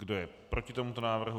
Kdo je proti tomuto návrhu?